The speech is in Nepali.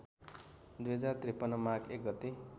२०५३ माघ १ गते